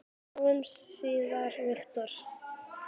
Sjáumst síðar, Viktor.